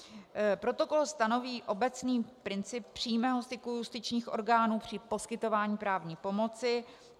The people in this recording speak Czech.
Protokol stanoví obecný princip přímého styku justičních orgánů při poskytování právní pomoci.